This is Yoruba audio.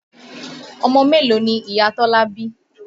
Ọmọ mélòó ni Ìyá Tọ́lá bí?